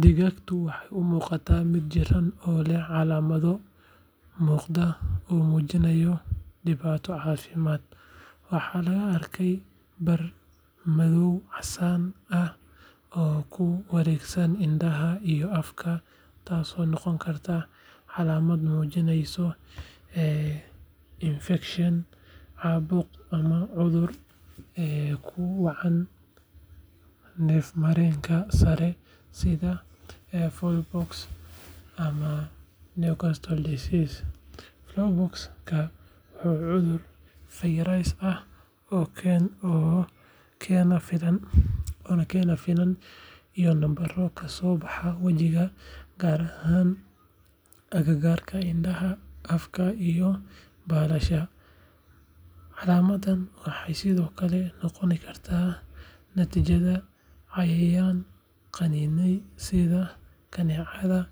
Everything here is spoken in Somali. Digaagadani waxay u muuqataa mid jirran oo leh calaamado muuqda oo muujinaya dhibaato caafimaad. Waxaa laga arkayaa bar madow-casaan ah oo ku wareegsan indhaha iyo afka taasoo noqon karta calaamad muujinaysa infekshan, caabuq ama cudur ku dhaca neefmareenka sare sida fowlpox ama Newcastle disease. Fowlpox-ka waa cudur fayras ah oo keena finan iyo nabaro ka soo baxa wajiga, gaar ahaan agagaarka indhaha, afka iyo baalasha. Calaamadahaan waxay sidoo kale noqon karaan natiijada cayayaan qaniinay sida kaneecada